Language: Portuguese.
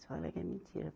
Eles fala que é mentira.